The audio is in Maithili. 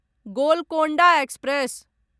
गोलकोण्डा एक्सप्रेस